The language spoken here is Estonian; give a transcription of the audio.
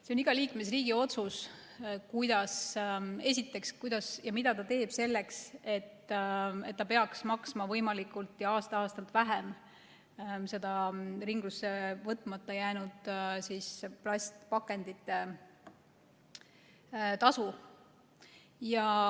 See on iga liikmesriigi otsus, mida ta teeb selleks, et ta peaks maksma võimalikult ja aasta-aastalt vähem seda ringlusse võtmata jäänud plastpakendite tasu.